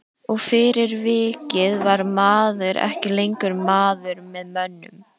Og fyrir vikið var maður ekki lengur maður með mönnum.